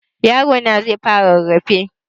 Yarona zai fara rarrafe.